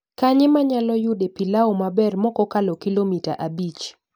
Kanye manyalo yude pilau maber mokokalo kilomita abich